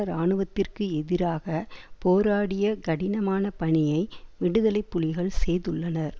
இராணுவத்திற்கு எதிராக போராடிய கடினமான பணியை விடுதலை புலிகள் செய்ததுள்ளனர்